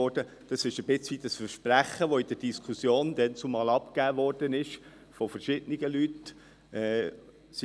Dies ist ein Stück weit ein Versprechen, das damals in der Diskussion von verschiedenen Leuten abgegeben wurde.